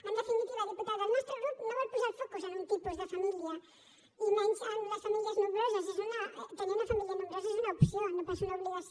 en definitiva diputada el nostre grup no vol posar el focus en un tipus de família i menys en les famílies nombroses tenir una família nombrosa és una opció no pas una obligació